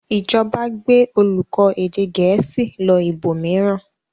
Ìjọba gbé olùkọ́ èdè Gẹ̀ẹ́sì lọ ibòmíràn?